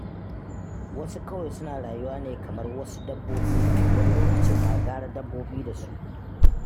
Wasu kawai suna rayuwa ne kamar wasu dabbobi, wani lokacin ma gara dabbobi da wasu.